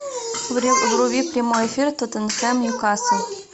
вруби прямой эфир тоттенхэм ньюкасл